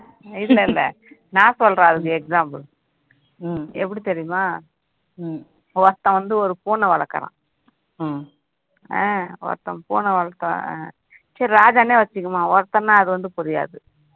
இல்ல இல்ல நான் சொல்றேன் அதுக்கு example எப்படி தெரியுமா ஒருத்தன் வந்து ஒரு பூனை வளர்க்குறான் ஆஹ் ஒருத்தன் பூனை வளர்த்தான் சரி ராஜானே வச்சிக்கலாம் ஒருத்தன்னா அது வந்து புரியாது